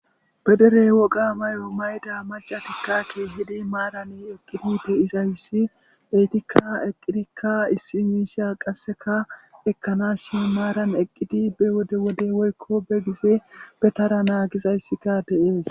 Be derey woga may7o mayda macatikka keehidi maarani eqqidi bu7izayssi eytikka eqqidikka issi miisha qasseka ekkanas shin maaran eqqidi be wode wode woykko be gize be tara naagizayssika deees.